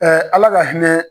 Ɛɛ ala ka hinɛ